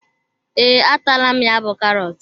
Ee, a taala m ya bú karọt.